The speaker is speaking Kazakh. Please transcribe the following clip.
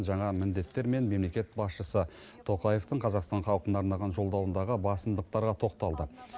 жаңа міндеттер мен мемлекет басшысы тоқаевтың қазақстан халқына арнаған жолдауындағы басымдықтарға тоқталды